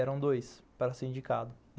Eram dois para ser indicado.